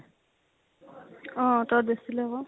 অ । অতো বেছি লʼব ।